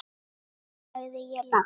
sagði ég lágt.